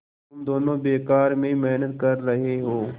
तुम दोनों बेकार में मेहनत कर रहे हो